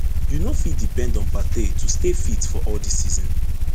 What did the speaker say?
you no fit depend on partey to stay fit for all di season